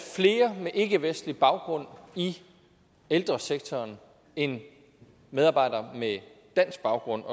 flere med ikkevestlig baggrund i ældresektoren end medarbejdere med dansk baggrund